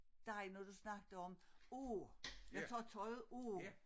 Dig når du snakkede om af jeg tager tøjet af